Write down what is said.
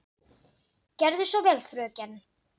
Gerðu svo vel, fröken!